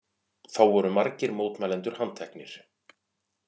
Þá voru margir mótmælendur handteknir